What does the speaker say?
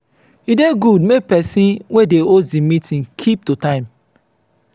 e dey good make person wey dey host di meeting keep to time